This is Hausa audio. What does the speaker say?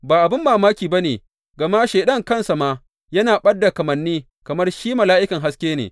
Ba abin mamaki ba ne, gama Shaiɗan kansa ma yana ɓad da kamanni kamar shi mala’ikan haske ne.